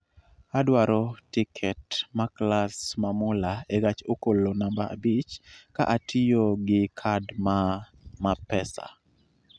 Adwaro tiket ma klas ma mula e gach okolo namba abich ka atiyo gi kad maa ma pesa